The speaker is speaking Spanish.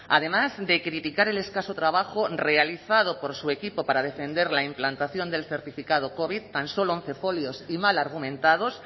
además de criticar el escaso trabajo realizado por su equipo para defender la implantación del certificado covid tan solo once folios y mal argumentados